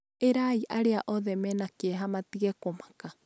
ĩrai arĩa othe mena kĩeha matige kũmaka